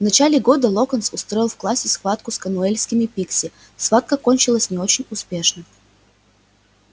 в начале года локонс устроил в классе схватку с конуэльскими пикси схватка кончилась не очень успешно